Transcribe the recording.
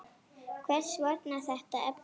Hvers vegna þetta efni?